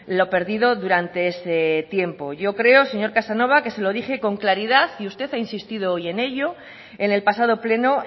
lo perdido durante ese tiempo yo creo señor casanova que se lo dije con claridad y usted ha insistido hoy en ello en el pasado pleno